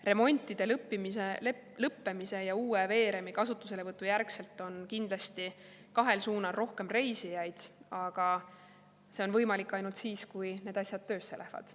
Remontide lõppemise ja uue veeremi kasutuselevõtu järgselt on kindlasti kahel suunal rohkem reisijaid, aga see on võimalik ainult siis, kui need asjad töösse lähevad.